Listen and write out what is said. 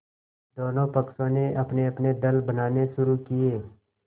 दोनों पक्षों ने अपनेअपने दल बनाने शुरू किये